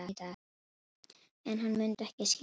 En hann mundi ekki skilja mig.